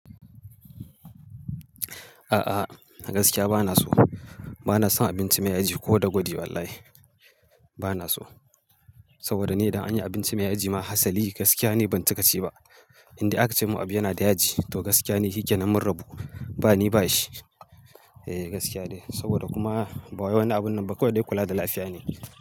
A'a, gaskiya bana so. Bana son abinci mai yaji ko da gwaji wallahi bana so. Saboda ni idan an yi abinci mai yaji ma hasali gaskiya ni ban cika ci ba. Indai aka ce mun abu yana da yaji to gaskiya ni hike nan mun rabu. Ba ni ba shi. Eh gaskiya dai saboda kuma ba wai wani abunnan ba kawai dai kula da lafiya ne.